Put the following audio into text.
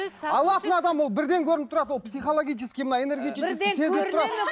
алатын адам ол бірден көрініп тұрады ол психологический ме энергетический ме сезіліп тұрады